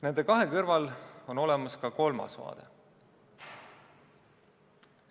Nende kahe kõrval on olemas ka kolmas vaade.